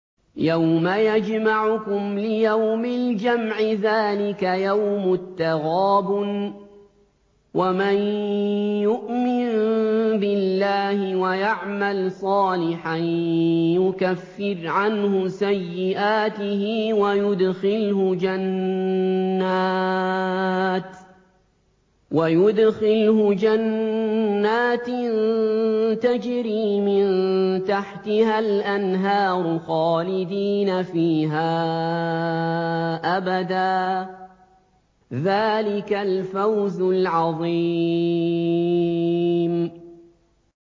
يَوْمَ يَجْمَعُكُمْ لِيَوْمِ الْجَمْعِ ۖ ذَٰلِكَ يَوْمُ التَّغَابُنِ ۗ وَمَن يُؤْمِن بِاللَّهِ وَيَعْمَلْ صَالِحًا يُكَفِّرْ عَنْهُ سَيِّئَاتِهِ وَيُدْخِلْهُ جَنَّاتٍ تَجْرِي مِن تَحْتِهَا الْأَنْهَارُ خَالِدِينَ فِيهَا أَبَدًا ۚ ذَٰلِكَ الْفَوْزُ الْعَظِيمُ